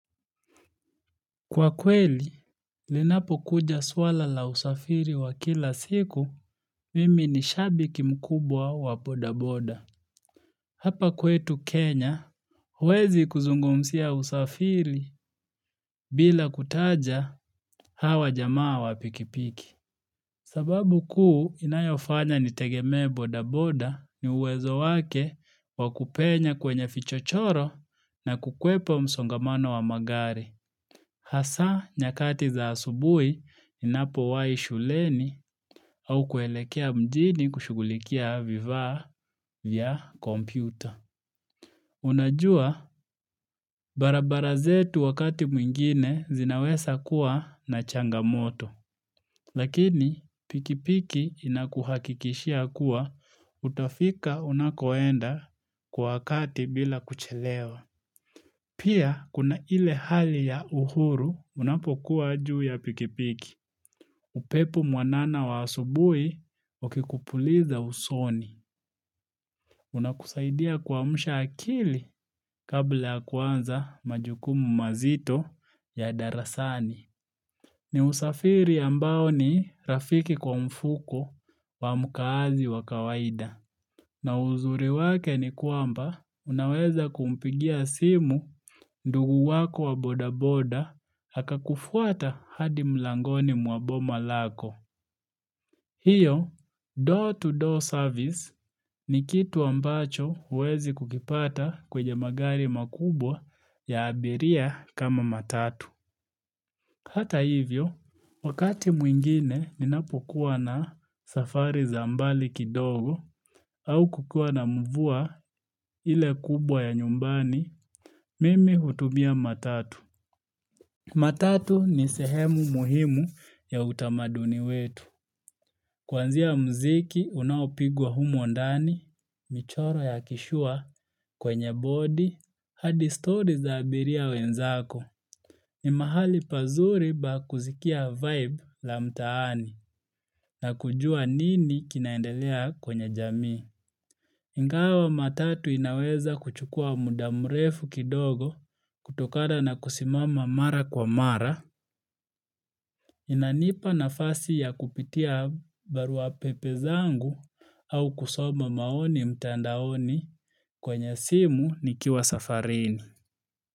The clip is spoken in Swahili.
Kwa kweli, linapokuja swala la usafiri wa kila siku, mimi ni shabiki mkubwa wa bodaboda. Hapa kwetu Kenya, huwezi kuzungumzia usafiri bila kutaja hawa jamaa wa pikipiki. Sababu kuu inayofanya nitegemee bodaboda ni uwezo wake wa kupenya kwenye vichochoro na kukwepa msongamano wa magari. Hasa nyakati za asubuhi ninapowahi shuleni au kuelekea mjini kushughulikia vifaa vya kompyuta. Unajua, barabara zetu wakati mwingine zinaweza kuwa na changamoto. Lakini, pikipiki inakuhakikishia kuwa utafika unakoenda kwa wakati bila kuchelewa. Pia, kuna ile hali ya uhuru unapokuwa juu ya pikipiki. Upepo mwanana wa asubuhi ukikupuliza usoni. Una kusaidia kuamsha akili kabla ya kuanza majukumu mazito ya darasani. Ni usafiri ambao ni rafiki kwa mfuko wa mkaazi wa kawaida. Na uzuri wake ni kwamba unaweza kumpigia simu ndugu wako wa bodaboda akakufuata hadi mlangoni mwa boma lako. Hiyo, door-to-door service ni kitu ambacho huwezi kukipata kwenye magari makubwa ya abiria kama matatu. Hata hivyo, wakati mwingine ninapokuwa na safari za mbali kidogo au kukuwa na mvua ile kubwa ya nyumbani, mimi hutumia matatu. Matatu ni sehemu muhimu ya utamaduni wetu. Kuanzia muziki, unaopigwa humo ndani, michoro ya kishua, kwenye body, hadi stori za abiria wenzako. Ni mahali pazuri pa kuskia vibe la mtaani na kujua nini kinaendelea kwenye jamii. Ingawa matatu inaweza kuchukua muda mrefu kidogo kutokana na kusimama mara kwa mara. Inanipa nafasi ya kupitia barua pepe zangu au kusoma maoni mtandaoni kwenye simu nikiwa safarini.